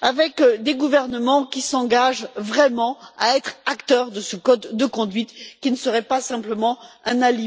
avec des gouvernements qui s'engagent vraiment à être acteurs de ce code de conduite, qui ne serait pas simplement un alibi pour le Conseil.